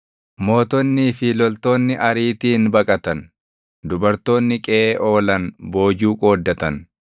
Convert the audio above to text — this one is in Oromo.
“Mootonnii fi loltoonni ariitiin baqatan; dubartoonni qeʼee oolan boojuu qooddatan.